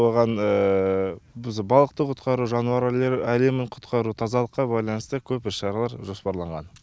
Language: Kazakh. оған біз балықты құтқару жануарлар әлемін құтқару тазалыққа байланысы көп іс шаралар жоспарланған